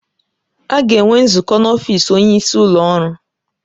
A ga-enwe nzukọ n'ọfịs onyeisi ụlọ ọrụ.